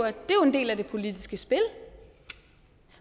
del af det politiske spil